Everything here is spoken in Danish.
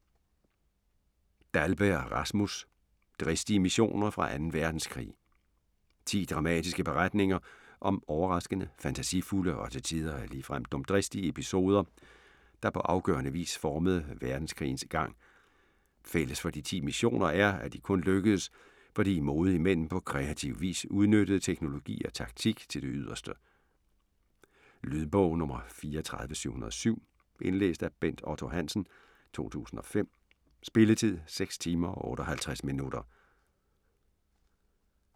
Dahlberg, Rasmus: Dristige missioner fra 2. verdenskrig 10 dramatiske beretninger om overraskende, fantasifulde og til tider ligefrem dumdristige episoder, der på afgørende vis formede verdenskrigens gang. Fælles for de ti missioner er, at de kun lykkedes, fordi modige mænd på kreativ vis udnyttede teknologi og taktik til det yderste. Lydbog 34707 Indlæst af Bent Otto Hansen, 2005. Spilletid: 6 timer, 58 minutter.